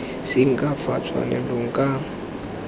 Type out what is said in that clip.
seng ka fa tshwanelong ka